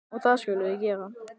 Og það skulum við gera.